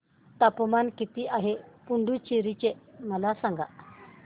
तापमान किती आहे पुडुचेरी चे मला सांगा